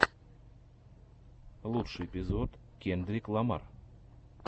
лучший эпизод кендрик ламар